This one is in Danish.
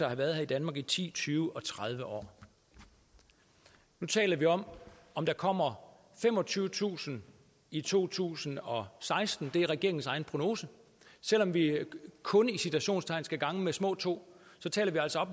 have været i danmark i ti tyve og tredive år nu taler vi om om der kommer femogtyvetusind i to tusind og seksten det er regeringens egen prognose selv om vi kun i citationstegn skal gange med små to taler vi altså